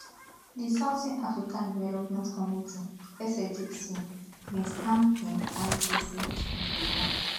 di southern african development community sadc bin stamp im candidacy gidiba